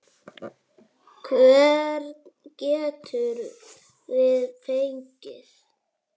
Hvern getum við fengið?